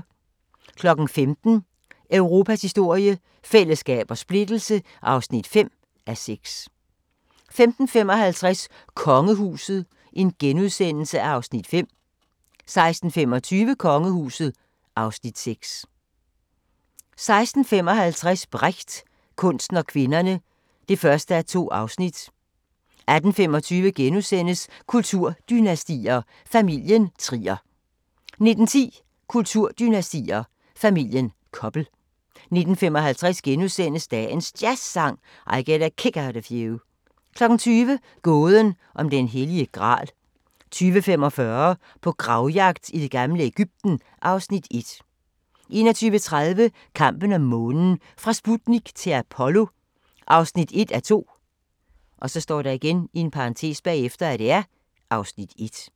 15:00: Europas historie – fællesskab og splittelse (5:6) 15:55: Kongehuset (Afs. 5)* 16:25: Kongehuset (Afs. 6) 16:55: Brecht – kunsten og kvinderne (1:2) 18:25: Kulturdynastier: Familien Trier * 19:10: Kulturdynastier: Familien Koppel 19:55: Dagens Jazzsang: I Get a Kick Out of You * 20:00: Gåden om den hellige gral 20:45: På gravjagt i det gamle Egypten (Afs. 1) 21:30: Kampen om månen – fra Sputnik til Apollo (1:2) (Afs. 1)